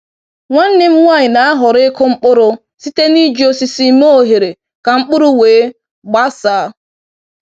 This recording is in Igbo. Nwanne m nwanyị na-ahọrọ ịkụ mkpụrụ site n’iji osisi mee oghere ka mkpụrụ wee gbasaa